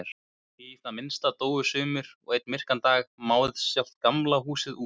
Í það minnsta dóu sumir og einn myrkan dag máðist sjálft Gamla húsið út.